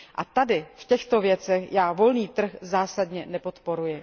A tady v těchto věcech já volný trh zásadně nepodporuji.